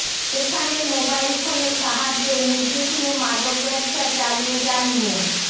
সেখানেই মোবাইল ফোনের সাহায্যে নির্বিঘ্নে মাদকব্যবসা চালিয়ে যান মো